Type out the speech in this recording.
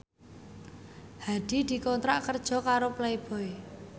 Hadi dikontrak kerja karo Playboy